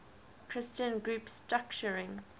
christian group structuring